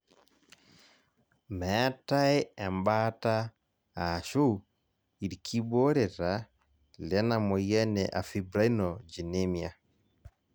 meetae ebaata aashu irkibooreta lena moyian e afibrinogenemia